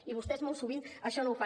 i vostès molt sovint això no ho fan